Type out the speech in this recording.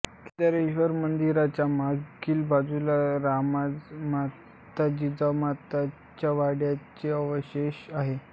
केदारेश्वर मंदिराच्या मागील बाजूस राजमाता जिजाबाईच्या वाड्याचे अवशेष आहेत